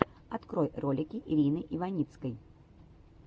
открой ролики ирины иваницкой